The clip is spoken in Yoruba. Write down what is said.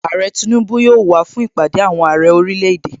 Àrẹ Tinubu yóò wàá fún Ìpàdé àwọn Àrẹ orílẹ̀ èdè.